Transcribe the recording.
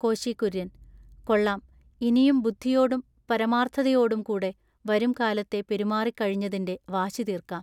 കോശികുര്യന്‍: കൊള്ളാം. ഇനിയും ബുദ്ധിയോടും പരമാൎത്ഥതയോടും കൂടെ വരുംകാലത്തെ പെരുമാറി കഴിഞ്ഞതിന്റെ വാശിതീൎക്കാം.